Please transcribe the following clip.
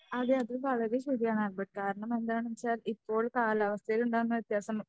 അതെ അത് വളരെ ശരിയാണ് ആൽബർട്ട് കാരണം എന്താണെന്ന് വെച്ചാൽ ഇപ്പോൾ കാലാവസ്ഥയിലുണ്ടാകുന്ന വ്യത്യാസം